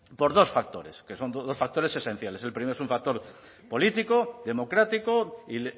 por dos factores que son dos factores esenciales el primero es un factor político democrático y